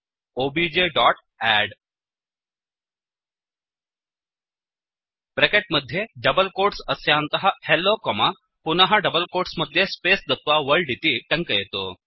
OBJ dot add bracket मध्ये double quotes अस्यान्तः hello comma पुनः डबल्कोट्स् मध्ये स्पेस् दत्वा वर्ल्ड इति टङ्कयतु